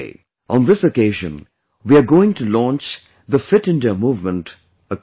On this occasion, we are going to launch the 'Fit India Movement' across the country